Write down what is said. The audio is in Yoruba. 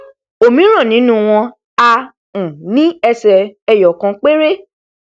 òmíràn nínú wọn á um ní ẹsè eyọ ìkan péré